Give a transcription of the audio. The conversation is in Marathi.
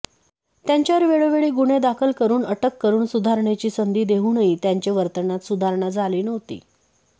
त्यांच्यावर वेळोवेळी गुन्हे दाखल करून अटक करून सुधारणेची संधी देवूनही त्यांचे वर्तनात सुधारणा झाली नव्हती